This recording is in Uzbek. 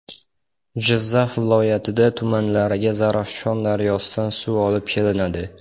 Jizzax viloyati tumanlariga Zarafshon daryosidan suv olib kelinadi.